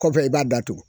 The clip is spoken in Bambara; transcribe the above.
Kɔfɛ i b'a datugu